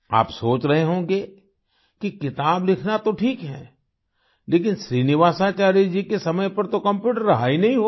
आप सोच रहे होंगे कि किताब लिखना तो ठीक है लेकिन श्रीनिवासाचार्य जी के समय पर तो कम्प्यूटर रहा ही नहीं होगा